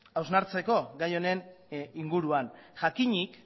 hausnartzeko gai honen inguruan jakinik